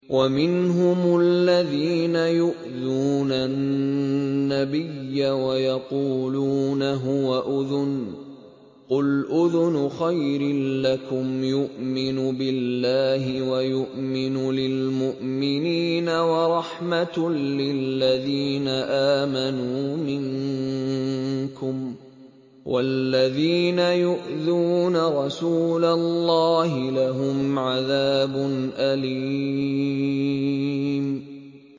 وَمِنْهُمُ الَّذِينَ يُؤْذُونَ النَّبِيَّ وَيَقُولُونَ هُوَ أُذُنٌ ۚ قُلْ أُذُنُ خَيْرٍ لَّكُمْ يُؤْمِنُ بِاللَّهِ وَيُؤْمِنُ لِلْمُؤْمِنِينَ وَرَحْمَةٌ لِّلَّذِينَ آمَنُوا مِنكُمْ ۚ وَالَّذِينَ يُؤْذُونَ رَسُولَ اللَّهِ لَهُمْ عَذَابٌ أَلِيمٌ